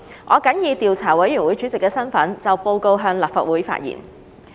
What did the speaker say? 我謹以調查委員會主席的身份，就報告向立法會發言。